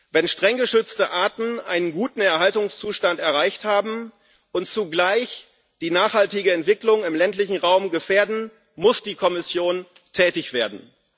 Wenn streng geschützte Arten einen guten Erhaltungszustand erreicht haben und zugleich die nachhaltige Entwicklung im ländlichen Raum gefährden, muss die Kommission tätig werden.